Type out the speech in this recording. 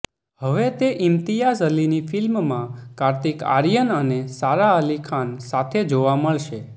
હવે તે ઈમ્તિયાઝ અલીની ફિલ્મમાં કાર્તિક આર્યન અને સારા અલી ખાન સાથે જોવા મળશે